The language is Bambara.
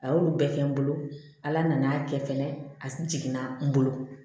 A y'olu bɛɛ kɛ n bolo ala nana kɛ fɛnɛ a jiginna n bolo